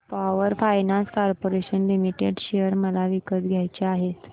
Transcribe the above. power finance corporation limited share मला विकत घ्यायचे आहेत